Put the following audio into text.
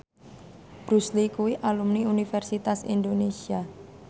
Bruce Lee kuwi alumni Universitas Indonesia